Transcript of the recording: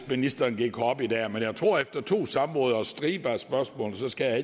ministeren gik herop i dag men jeg tror at efter to samråd og en stribe spørgsmål skal